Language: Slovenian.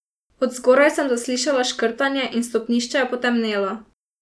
Od zgoraj sem zaslišala škrtanje in stopnišče je potemnelo.